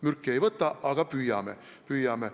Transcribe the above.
Mürki ma ei võta, aga me püüame.